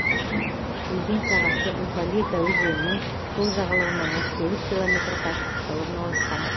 өзен сағасы уфалейка өзенінің сол жағалауынан отыз сегіз километр қашықтықта орналасқан